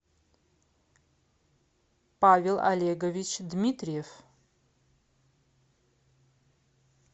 павел олегович дмитриев